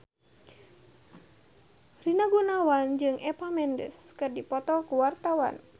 Rina Gunawan jeung Eva Mendes keur dipoto ku wartawan